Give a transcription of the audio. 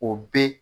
O be